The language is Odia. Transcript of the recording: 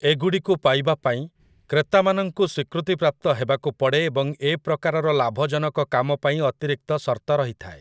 ଏଗୁଡ଼ିକୁ ପାଇବା ପାଇଁ, କ୍ରେତାମାନଙ୍କୁ ସ୍ଵୀକୃତିପ୍ରାପ୍ତ ହେବାକୁ ପଡ଼େ ଏବଂ ଏ ପ୍ରକାରର ଲାଭଜନକ କାମ ପାଇଁ ଅତିରିକ୍ତ ସର୍ତ୍ତ ରହିଥାଏ ।